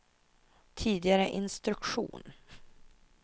tidigare instruktion